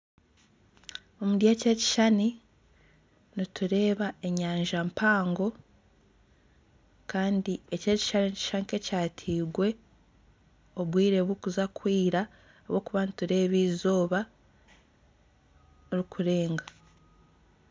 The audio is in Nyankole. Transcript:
Omuri eki ekishushani nitureeba enyanja mpango kandi eki ekishushani nikishusha nka ekyatirwe obwire burikuza kwira ahabw'okuba nitureeba izooba rikurenga.